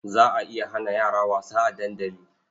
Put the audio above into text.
Za a iya hana yara wasa a dandali.